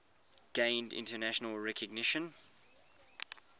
gained international recognition